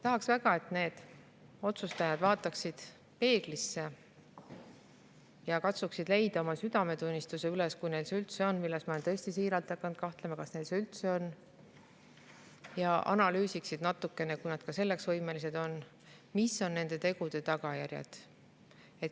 Tahaks väga, et need otsustajad vaataksid peeglisse ja katsuksid leida üles oma südametunnistuse, kui neil see üldse on – ma olen tõesti siiralt hakanud kahtlema selles, kas neil see üldse on –, ja analüüsiksid natukene, kui nad selleks võimelised on, mis on nende tegude tagajärjed.